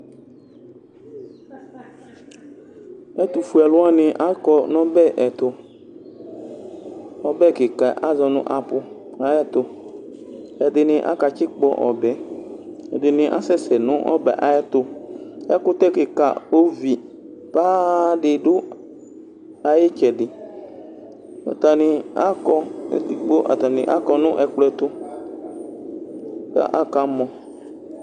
Ɛtʋfue alʋ wani akɔ nʋ ɔbɛ ɛtʋ ɔbɛ kika yɛ azɔ nʋ apu ayɛtʋ ɛtʋ ɛd akatsikpɔ ɔbɛ ɛdini asɛsɛ nʋ ɔbɛ ayɛtʋ ɛkʋtɛ kika ovi paa didʋ ayʋ itsɛdi atani akɔ nʋ ɛkplɔɛtʋ kʋ akamɔ